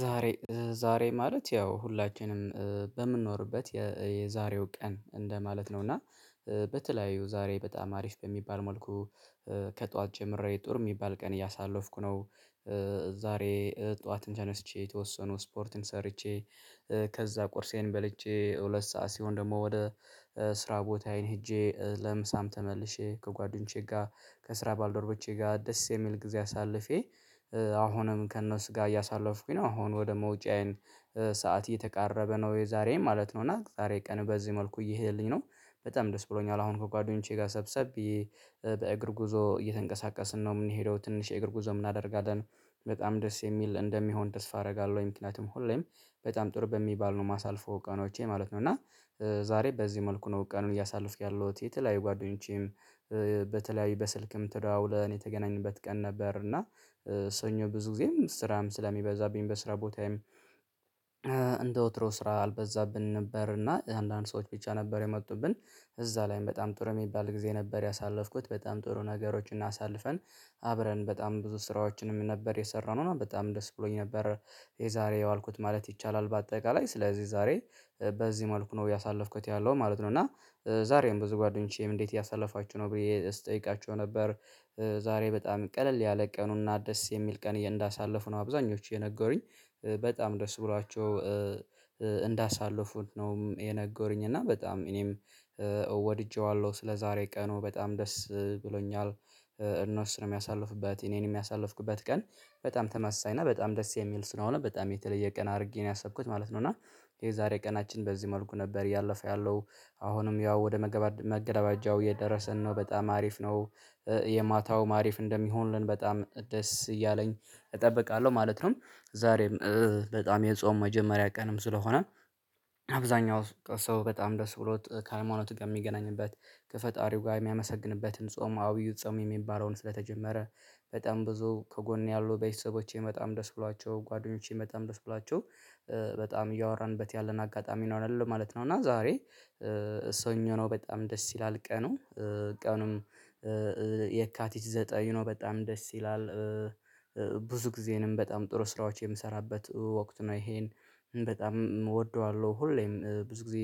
ዛሬ ዛሬ ማለት ያው ሁላችንም በምንኖርበት የዛሬው ቀን እንደማለት ነው እና በተለያዩ ዛሬ በጣም አሪፍ በሚባል መልኩ ከጧት ጀምሬ ጥሩ የሚባል ቀን እያሳለፍኩ ነው። ዛሬ ጠዋት ተነስቼ የተወሰነው ስፖርትን ሰርቼ። ከዛ ቁርሴን በልቼ ሁለት ሰዓት ሲሆን ደግሞ ወደ ስራ ቦታዬ ሄጄ ለምሳም ተመልሼ ከጓደኞቼ ጋር ከስራ ባልደርቦቼ ጋር ደስ የሚል ጊዜ አሳልፌ። አሁንም ከእነሱ ጋር እያሳለፍኩኝ ነው አሁን ወደ መውጫዬን ሰዓት እየተቃረበ ነው። የዛሬም ማለት ነው እና ዛሬ ቀን በዚህ መልኩ እየሄድኩኝ ነው በጣም ደስ ብሎኛል። አሁን ከጓደኞቼ ጋር ሰብሰብ ብየ በእግር ጉዞ እየተንቀሳቀስን ነው የምንሄደው ትንሽ የእግር ጉዞም እናደርጋለን። በጣም ደስ የሚል እንደሚሆን ተስፋ አደርጋለሁ። ምክንያቱም ሁሌም በጣም ጥር በሚባል ነው ማሳልፎ ቀኖቼ ማለት ነው። እና ዛሬ በዚህ መልኩ ነው ቀኑን እያሳልፍኩ ያለሁት የተለያዩ ጓደኞቼም በተለያዩ በስልክም ተደዋውለን የተገናኘንበት ቀን ነበር። እና ሰኞ ብዙ ጊዜም ስራም ስለሚበዛብኝ በስራ ቦታዬም እንደ ወትሮ ስራ አልበዛብንም ነበር እና አንዳንድ ሰዎች ብቻ ነበር የመጡብን እዛ ላይም በጣም ጥሩ የሚባል ጊዜ ነበር። ያሳለፍኩት በጣም ጥሩ ነገሮችን አሳልፈን አብረን በጣም ብዙ ስራዎችንም ነበር የሰራነው እና በጣም ደስ ብሎኝ ነበር። የዛሬ ያዋልኩት ማለት ይቻላል በአጠቃላይ ስለዚህ ዛሬ በዚህ መልኩ ነው ያሳለፍኩት ያለው ማለት ነው። እና ዛሬም ብዙ ጓደኞቼም እንዴት እያሳለፋችሁ ነው ብዬ ስጠይቃችሁ ነበር? ዛሬ በጣም ቀለል ያለ ቀኑና ደስ የሚል ቀን እንዳሳለፉ ነው አብዛኞቹ የነገሩኝ። በጣም ደስ ብሏቸው እንዳሳልፉን ነው የነገሩኝ። እና በጣም እኔም ወድጄዋለሁ ስለዛሬ ቀኑ በጣም ደስ ብሎኛል። እነሱም ያሳለፉበት እኔንመ ያሳልፍኩበት ቀን በጣም ተመሳሳይ እና በጣም ደስ የሚል ስለሆነ በጣም የተለየ ቀን አድርጌ ነው ያሰብኩት ማለት ነው። እና የዛሬ ቀናችን በዚህ መልኩ ነበር ያለፈው ያለው አሁንም ያው ወደ መገባደ መገባደጃው እየደረሰን ነው በጣም አሪፍ ነው። የማታውም አሪፍ እንደሚሆንልን በጣም ደስ እያለኝ እጠብቃለሁ ማለት ነው። ዛሬም በጣም የጾም መጀመሪያ ቀንም ስለሆነ አብዛኛው ሰው በጣም ደስ ብሎት ከሃይማኖቱ ጋር የሚገናኝበት ከፈጣሪው ጋር የሚያመሰግንበትን ጾም አብይ ጾም የሚባለውን ስለተጀመረ። በጣም ብዙ ከጎን ያሉ ቤተሰቦቼ በጣም ደስ ብሏቸው ጓደኞቼም በጣም ደስ ብሏቸው በጣም እያወራንበት ያለን አጋጣሚ ይኖራል ማለት ነው። እና ዛሬ ሰኞ ነው በጣም ደስ ይላል ቀኑ። ቀኑም የካ ዘጠኝ ነው በጣም ደስ ይላል። ብዙ ጊዜንም በጣም ጥሩ ስራዎች የምሰራበት ወቅት ነው። ይሄን በጣም እወደዋለሁ ሁሌም ብዙ ጊዜ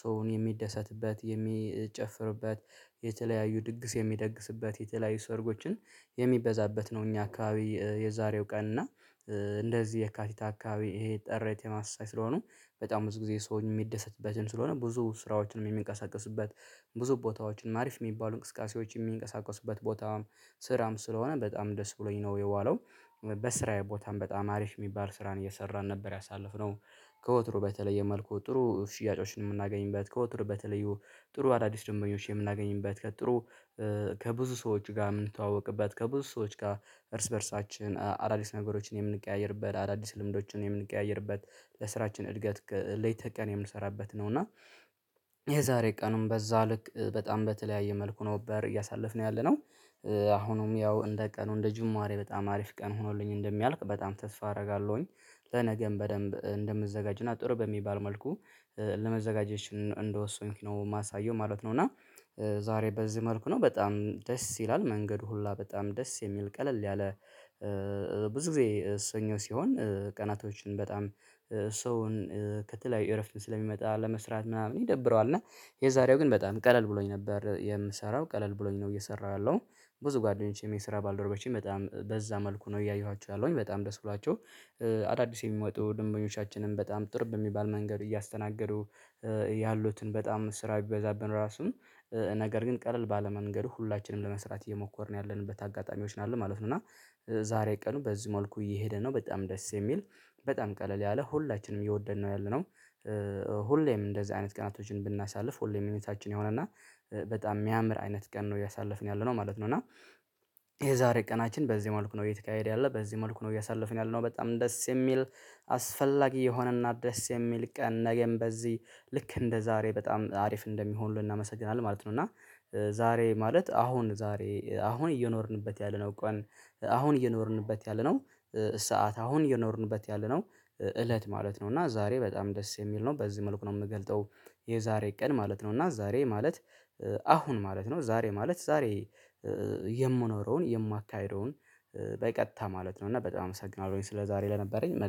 ሰውን የሚደሰትበት የሚጨፍርበት የተለያዩ ድግስ የሚደግስበት የተለያዩ ሰርጎችን የሚበዛበት ነው። እኛ አካባቢ የዛሬው ቀን እና እንደዚህ የካቲት አካባቢ ይሄ ጥረት የማሳይ ስለሆኑ በጣም ብዙ ጊዜ ሰውን የሚደሰትበትን ስለሆነ ብዙ ስራዎችንም የሚንቀሳቀስበት ብዙ ቦታዎችንም አሪፍ የሚባሉ እንቅስቃሴዎች የሚንቀሳቀሱበት ቦታም ስራም ስለሆነ በጣም ደስ ብሎኝ ነው። የዋለው በስራዬ ቦታም በጣም አሪፍ የሚባል ስራን እየሰራን ነበር ያሳለፍነው። ከወትሩ በተለየ መልኩ ጥሩ ሽያጮችን የምናገኝበት ከወትሮ በተለዩ ጥሩ አዳዲስ ድንበኞች የምናገኝበት ከጥሩ ከብዙ ሰዎች ጋር የምንተዋወቅበት ከብዙ ሰዎች ጋር እርስ በእርሳችን አዳዲስ ነገሮችን የምንቀያየርበት አዳዲስ ልምዶችን የምንቀያየርበት ለስራችን እድገት ሌተ ተቀን የምንሰራበት ነው። እና የዛሬ ቀኑን በዛ ልክ በጣም በተለያየ መልኩ ነበር እያሳለፍን ያለነው። አሁንም ያው እንደ ቀኑ እንደ ጅማሬ በጣም አሪፍ ቀን ሆኖልኝ እንደሚያልቅ በጣም ተስፋ አደርጋለሁኝ። ለነገም በደንብ እንደምዘጋጅና ጥሩ በሚባል መልኩ ለመዘጋጀች እንደወሰንክ ነው የማሳየው ማለት ነው። እና ዛሬ በዚህ መልኩ ነው በጣም ደስ ይላል መንገዱ ሁላ በጣም ደስ የሚል ቀለል ያለ። ብዙ ጊዜ ሰኞ ሲሆን ቀናቶችን በጣም ሰውን ከተለያዩ እረፍት ስለሚመጣ ለመስራት ምናምን ይደብረዋል እና የዛሬው ግን በጣም ቀለል ብሎኝ ነበር የምሰራው ቀለል ብሎኝ ነው እየሰራሁ ያለው። ብዙ ጓደኞቼም የስራ ባልደርቦቼም በጣም በዛ መልኩ ነው እያየኋችሁ ያለሁኝ በጣም ደስ ብሏቸው። አዳዲስ የሚመጡ ደንበኞቻችንንም በጣም ጥሩ በሚባል መንገድ እያስተናገዱ። ያሉትን በጣም ስራ ቢበዛብን ራሱ ነገር ግን ቀለል ባለ መንገድ ሁላችንም ለመስራት እየሞከርን ያለንበት አጋጣሚዎች ነው ያለን ማለት ነው። እና ዛሬ ቀኑ በዚህ መልኩ እየሄደ ነው። በጣም ደስ የሚል በጣም ቀለል ያለ ሁላችንም የወደድነው ያለነው። ሁሌም እንደዚህ አይነት ቀናቶችን ብናሳልፍ ሁሌም እኔ ሚኒታችን የሆነ እና በጣም የሚያምር አይነት ቀን ነው ያሳለፍን ያለነው ማለት ነው። እና የዛሬ ቀናችን በዚህ መልኩ ነው የተካሄደ ያለ በዚህ መልኩ ነው ያሳለፍነው። ያለነው በጣም ደስ የሚል አስፈላጊ የሆነና ደስ የሚል ቀን ነገም በዚህ ልክ እንደዛሬ በጣም አሪፍ እንደሚሆን እናመሰግናለን ማለት ነው። እና ዛሬ ማለት አሁን ዛሬ አሁን እየኖርንበት ያለነው ቀን። አሁን እየኖርንበት ያለነው ሰዓት አሁን እየኖርንበት ያለነው እለት ማለት ነው። እና ዛሬ በጣም ደስ የሚል ነው በዚህ መልኩ ነው የምገልጠው። የዛሬ ቀን ማለት ነው። እና ዛሬ ማለት አሁን ማለት ነው ዛሬ ማለት ዛሬ የምኖረውን የማካሂደውን በቀጥታ ማለት ነው። እና በጣም አመሰግናለሁኝ ስለዛሬ ለነበረኝ